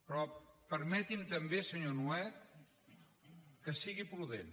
però permeti’m senyor nuet que sigui prudent